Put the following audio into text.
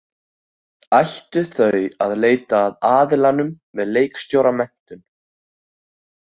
Ættu þau að leita að aðila með leikstjóramenntun?